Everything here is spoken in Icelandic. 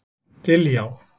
Diljá